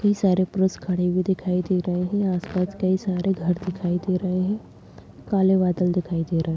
कई सारे परुष खड़े हुए दिखाई दे रहे हैं यहाँ आस-पास कई सारे घर दिखाई दे रहे हैं काले बदल दिखाई दे रहे हैं।